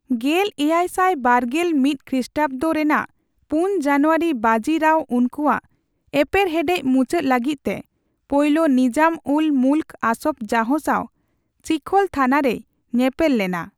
ᱜᱮᱞ ᱮᱭᱟᱭ ᱥᱟᱭ ᱵᱟᱨᱜᱮᱞ ᱢᱤᱛ ᱠᱷᱨᱤᱥᱴᱟᱵᱽᱫᱚ ᱨᱮᱱᱟᱜ ᱯᱩᱱ ᱡᱟᱱᱩᱣᱟᱨᱤ ᱵᱟᱡᱤ ᱨᱟᱣ ᱩᱱᱠᱩᱣᱟᱜ ᱮᱯᱮᱨ ᱦᱮᱰᱮᱡ ᱢᱩᱪᱟᱹᱫ ᱞᱟᱹᱜᱤᱫ ᱛᱮ ᱯᱳᱭᱞᱳ ᱱᱤᱡᱟᱢᱼᱩᱞᱼᱢᱩᱞᱠ ᱟᱥᱚᱯᱷ ᱡᱟᱦ ᱥᱟᱣ ᱪᱤᱠᱷᱚᱞ ᱛᱷᱟᱱᱟ ᱨᱮᱭ ᱧᱮᱯᱮᱞ ᱞᱮᱱᱟ ᱾